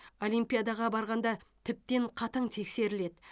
олимпиадаға барғанда тіптен қатаң тексеріледі